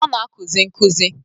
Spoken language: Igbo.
Ọ na-akuzi nkuzi.